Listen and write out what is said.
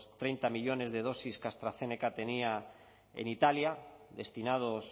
treinta millónes de dosis que astrazeneca tenía en italia destinados